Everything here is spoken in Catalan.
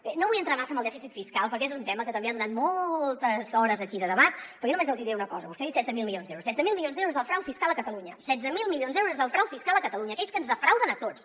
bé no vull entrar massa en el dèficit fiscal perquè és un tema que també ha donat moltes hores aquí de debat però jo només els diré una cosa vostè ha dit setze mil milions d’euros setze mil milions d’euros és el frau fiscal a catalunya setze mil milions d’euros és el frau fiscal a catalunya aquells que ens defrauden a tots